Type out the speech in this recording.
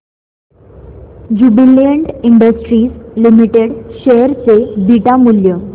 Jubilant industries limited share चे beta मूल्य